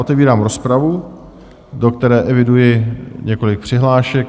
Otevírám rozpravu, do které eviduji několik přihlášek.